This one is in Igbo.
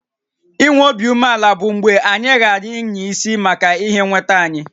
I nwé obi umeàlà bụ mgbe anyị ghààrà ịnya isi maka ihé nwétá anyị